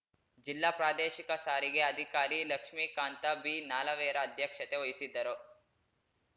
ಜಿಲ್ಲಾ ಪ್ರಾದೇಶಿಕ ಸಾರಿಗೆ ಅಧಿಕಾರಿ ಲಕ್ಷ್ಮೀಕಾಂತ ಭೀನಾಲವೇರ ಅಧ್ಯಕ್ಷತೆ ವಹಿಸಿದ್ದರು